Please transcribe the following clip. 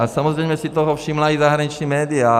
A samozřejmě si toho všimla i zahraniční média.